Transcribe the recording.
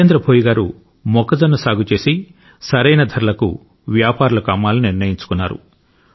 జితేంద్ర భోయి గారు మొక్కజొన్న సాగు చేసి సరైన ధరలకు వ్యాపారులకు అమ్మాలని నిర్ణయించుకున్నాడు